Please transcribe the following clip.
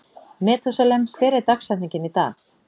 Methúsalem, hver er dagsetningin í dag?